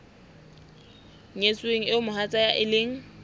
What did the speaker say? nyetsweng eo mohatsae e leng